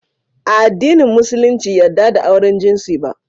A addinin musulunci yadda da auren jinsi ba